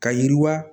Ka yiriwa